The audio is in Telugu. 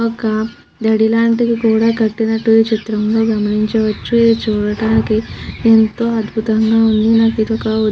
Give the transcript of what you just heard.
ఒక దడి లాంటిది కూడా కట్టినట్టు ఈ చిత్రంలో గమనించవచ్చు. ఇది చూడటానికి ఎంతో అధ్బుతంగా ఉంది. ఒక --